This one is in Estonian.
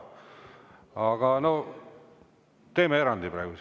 Aga noh, teeme praegu erandi.